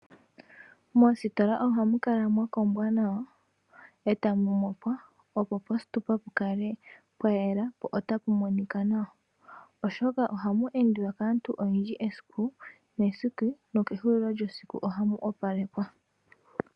Moositola ohamukala mwakombwa nawa etamu mopwa opo positupa pukale pwayela po otapu monika nawa oshoka ohapu endiwa kaantu oyendji esiku nesiku nokehulilo lyesiku ohamu opalekwa.